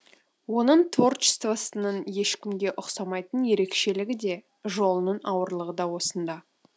оның творчествосының ешкімге ұқсамайтын ерекшелігі де жолының ауырлығы да осында